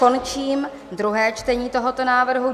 Končím druhé čtení tohoto návrhu.